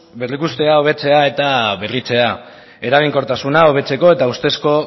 berrikustea hobetzea eta berritzea eraginkortasuna hobetzeko eta ustezko